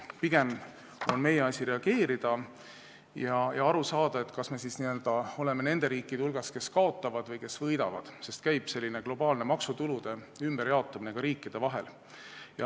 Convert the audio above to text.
Pigem on meie asi reageerida ja aru saada, kas me oleme nende riikide hulgas, kes kaotavad, või nende hulgas, kes võidavad, sest käib globaalne maksutulude ümberjaotumine ka riikide vahel.